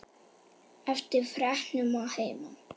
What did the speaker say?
Eftir fregnum að heiman.